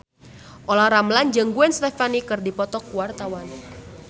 Olla Ramlan jeung Gwen Stefani keur dipoto ku wartawan